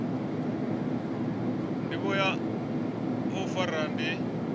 ndivho ya u fara ndi